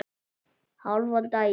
Hálfan daginn.